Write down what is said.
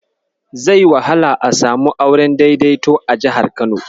Zai wahala a samu auren daidaito a jihar Kano.